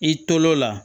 I tol'o la